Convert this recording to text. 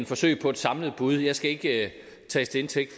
forsøg på et samlet bud jeg skal ikke tages til indtægt